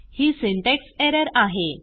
ही syntax error आहे